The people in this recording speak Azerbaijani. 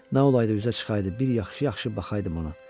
Nə olaydı üzə çıxaydı, bir yaxşı-yaxşı baxaydı ona.